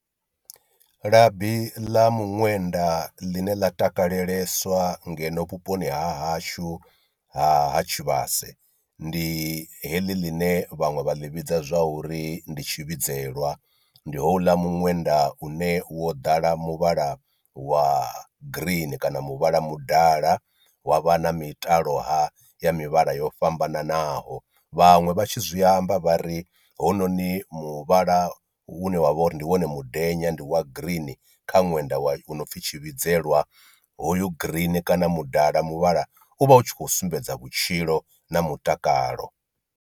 Labi ḽa miṅwenda ḽine ḽa takaleleswa ngeno vhuponi ha hashu ha ha tshivhase, ndi heḽi ḽine vhaṅwe vha ḽi vhidza zwa uri ndi tshivhidzelwa ndi houḽa muṅwenda une wo ḓala muvhala wa green kana muvhala mudala wa vha na mitalo ha ya mivhala yo fhambananaho, vhaṅwe vha tshi zwi amba vha ri hounoni muvhala une wavha uri ndi wone mudenya ndi wa green kha ṅwenda wa u no pfhi tshivhidzelwa hoyu green kana mudala muvhala uvha utshikho sumbedza vhutshilo na mutakalo.